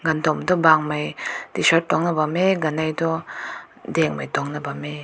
gundun toh bang mai t shirt tunk na bam meh ganai toh deng mai tunk na bam meh.